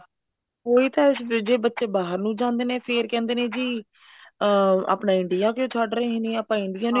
ਉਹੀ ਤਾਂ ਹੈ ਜੇ ਬੱਚੇ ਬਾਹਰ ਨੂੰ ਜਾਂਦੇ ਨੇ ਫ਼ੇਰ ਕਹਿੰਦੇ ਨੇ ਜੀ ਅਮ ਆਪਣਾ India ਕਿਉਂ ਛੱਡ ਰਹੇ ਨੇ ਆਪਾਂ India